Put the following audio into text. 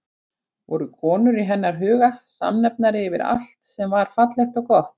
Voru konur í hennar huga samnefnari yfir allt sem var fallegt og gott?